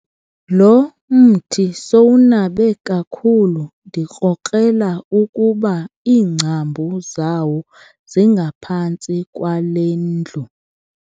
Lo mthi sowunabe kakhulu ndikrokrela ukuba iingcambu zawo zingaphantsi kwale ndlu.